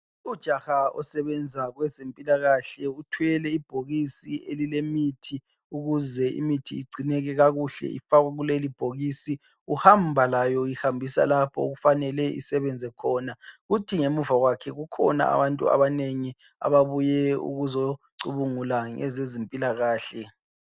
Ujaha osebenza kwezempilakahle ,uthwele ibhokisi elilemithi ukuze imithi igcineke kakuhle ifakwe kulelibhokisi. Uhamba layo uyihambisa lapho okufanele isebenze khona. Uthi ngemuva kwakhe kukhona abantu abanengi ababuye ukuzocubungula ngezezimpilakahle.